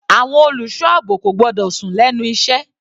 Àwọn olùṣọ́ àbò kò gbọ́dọ̀ sùn lẹ́nu iṣẹ́.